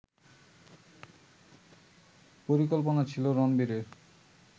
পরিকল্পনা ছিল রণবীরের